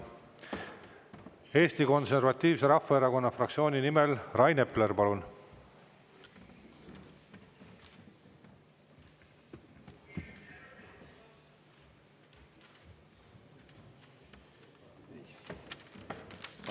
Eesti Konservatiivse Rahvaerakonna fraktsiooni nimel Rain Epler, palun!